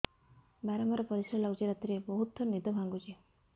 ବାରମ୍ବାର ପରିଶ୍ରା ଲାଗୁଚି ରାତିରେ ବହୁତ ଥର ନିଦ ଭାଙ୍ଗୁଛି